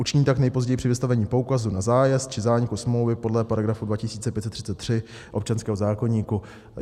Učiní tak nejpozději při vystavení poukazu na zájezd či zániku smlouvy podle § 2533 občanského zákoníku."